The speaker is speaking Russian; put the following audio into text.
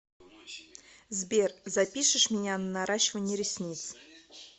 сбер запишешь меня на наращивание ресниц